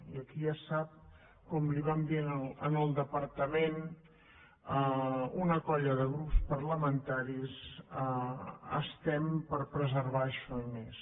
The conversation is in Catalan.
i aquí ja ho sap com li vam dir en el departament una colla de grups parlamentaris estem per preservar això i més